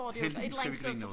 Heldigvis kan vi grine af det